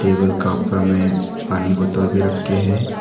Table का ऊपर में पानी बोतल भी रखे हैं।